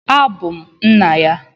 Abum nna ya.